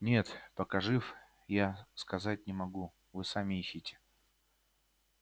нет пока жив я сказать не могу вы сами ищите